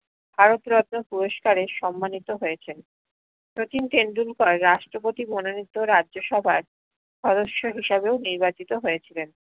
ভারত রত্ন পুরস্কারে সন্মানিত হয়েছেন শচীন টেন্ডুলকার রাষ্ট্রপ্রতী মনোনিত্য রাজ্যসভার স্দ্য়স হিসাদেও নির্বাচিত হয়েছিলেন